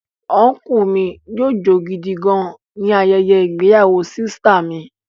Ọnkúu mi jó gidi gan-an ni ayẹyẹ ìgbéyàwó sìsìtá mi